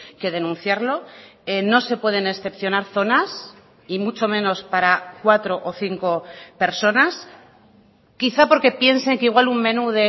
que denunciarlo no se pueden excepcionar zonas y mucho menos para cuatro o cinco personas quizá porque piensen que igual un menú